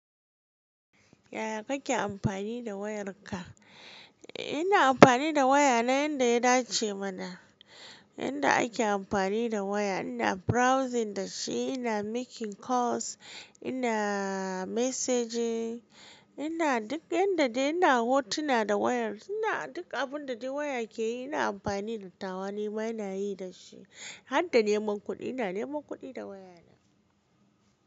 Yaya kake amfani da wayarka? Ina amfani da waya na yanda ya dace mana. Yanda ake amfani da waya. Ina browsing da shi, ina making calls, ina messaging, ina duk yanda dai ina hotuna da wayar. Ina duk abun da dai waya ke yi ina amfani da tawa nima ina yi da shi. Har da neman kuɗi ina neman kuɗi da wayana.